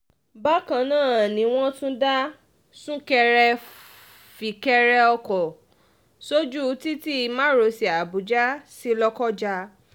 bákan náà ni wọ́n um tún dá súnkẹrẹ-fìkẹrẹ ọkọ̀ sójú títí um márosẹ̀ àbújá sí lọ́kọ́já